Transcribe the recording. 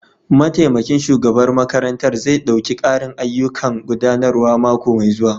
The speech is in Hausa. Mataimakin shugaban makarantar zai ɗauki ƙarin ayyukan gudanarwa mako mai zuwa.